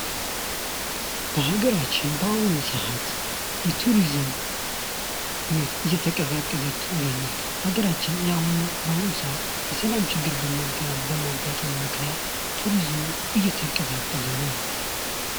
በአገራችን በአሁኑ ሰዓት የቱሪዝም እየተቀዛቀዘ ይገኛል አገራችን የአሁኑ በአሁኑ ሰዓት የሰላም ችግር በመገምገም በማጋጠሙ ምክንያት ቱሪዝም እየተንቀቀሰ ነው.